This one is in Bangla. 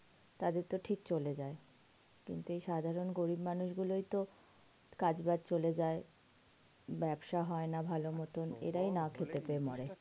তাদের তো ঠিক চলে যাই, কিন্তু এই সব সাধারণ গরিব মানুষ গুলো ওই তো কাজ বাজ চলে যায়, ব্যবসা হয় না ভালো মত এরাই না খেতে পেয়ে মরে